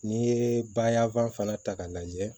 N'i ye bayɛlɛfan fana ta k'a lajɛ